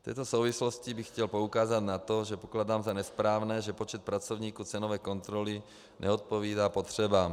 V této souvislosti bych chtěl poukázat na to, že pokládám za nesprávné, že počet pracovníků cenové kontroly neodpovídá potřebám.